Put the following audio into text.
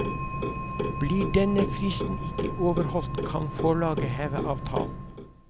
Blir denne fristen ikke overholdt, kan forlaget heve avtalen.